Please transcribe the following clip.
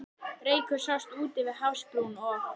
Reykur sást úti við hafsbrún, og